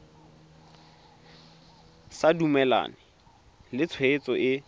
sa dumalane le tshwetso e